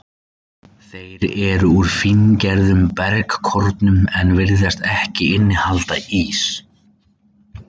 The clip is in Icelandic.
Þeir eru úr fíngerðum bergkornum en virðast ekki innihalda ís.